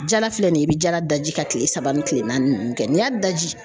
Jala filɛ nin ye i bi jala daji ka kile saba ni kile naani ninnu kɛ n'i y'a daji